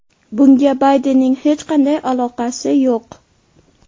Bunga Baydenning hech qanday aloqasi yo‘q.